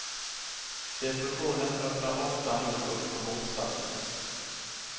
Depressionen öppnar ofta nog upp för motsatsen.